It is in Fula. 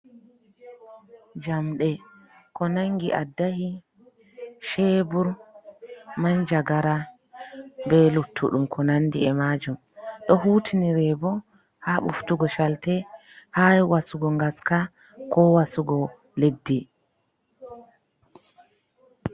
Jamɗe ko nangi aɗɗahi, cheebur, manja gara. Be luttuɗum ko nanɗi e majum. Ɗo hutinire bo ha buftugo calte. ha wasugo gaska, ko wasugo leɗɗi.